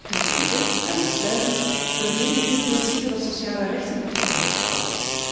Ten tweede en aansluitend verdedig ik het principe dat sociale rechten moeten worden opgebouwd.